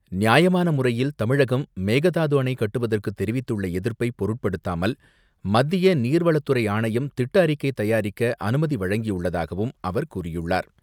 நியாயமான முறையில் தமிழகம் மேகதாது அணை கட்டுவதற்கு தெரிவித்துள்ள எதிர்ப்பை பொருட்படுத்தாமல் மத்திய நீர்வளத்துறை ஆணையம் திட்ட அறிக்கை தயாரிக்க அனுமதி வழங்கியுள்ளதாகவும் அவர் கூறியுள்ளார்.